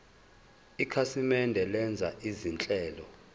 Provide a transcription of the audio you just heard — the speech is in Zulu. ikhasimende lenza izinhlelo